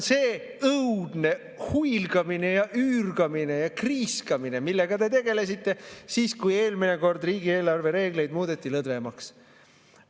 See oli õudne huilgamine ja üürgamine ja kriiskamine, millega te tegelesite siis, kui eelmine kord riigieelarve reegleid muudeti lõdvemaks.